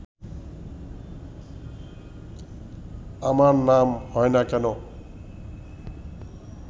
আমার নাম হয় না কেন